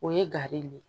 O ye gari ye